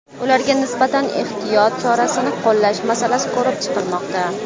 Ularga nisbatan ehtiyot chorasini qo‘llash masalasi ko‘rib chiqilmoqda.